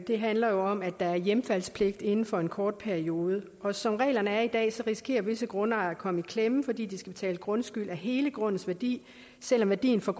det handler jo om at der er hjemfaldspligt inden for en kort periode og som reglerne er i dag så risikerer visse grundejere at komme i klemme fordi de skal betale grundskyld af hele grundens værdi selv om værdien for